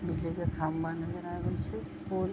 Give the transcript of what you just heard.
बिजली के खंभा नजर आवे छै पोल --